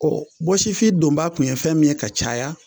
bɔsifin donbaa kun ye fɛn min ka caya,